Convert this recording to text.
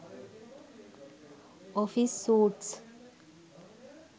office suites